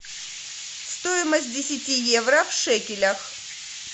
стоимость десяти евро в шекелях